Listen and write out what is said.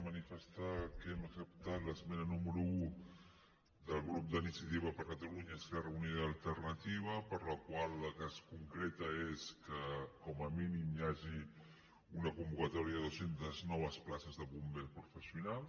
manifestar que hem acceptat l’esmena número un del grup d’iniciativa per catalunya esquerra unida i alternativa per la qual el que es concreta és que com a mínim hi hagi una convocatòria de dues centes noves places de bomber professional